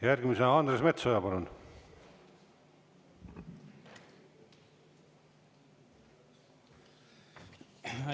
Järgmisena Andres Metsoja, palun!